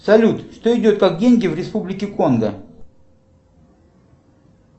салют что идет как деньги в республике конго